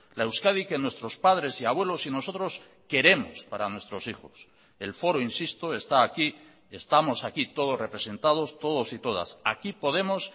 la euskadi que nuestros padres y abuelos y nosotros queremos para nuestros hijos el foro insisto está aquí estamos aquí todos representados todos y todas aquí podemos